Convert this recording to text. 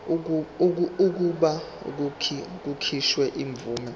kokuba kukhishwe imvume